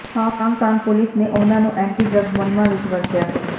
Hong Kong police ਨੇ ਉਹਨਾਂ ਨੂੰ ਐਂਟੀ ਡਰੱਗਜ਼ ਮੁਹਿੰਮਾਂ ਵਿੱਚ ਵਰਤਿਆ